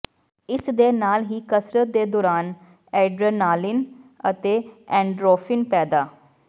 ਇਸ ਦੇ ਨਾਲ ਹੀ ਕਸਰਤ ਦੇ ਦੌਰਾਨ ਐਡਰੇਨਾਲੀਨ ਅਤੇ ਐਨਡੋਰਫਿਨ ਪੈਦਾ